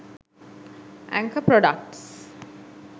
anchor products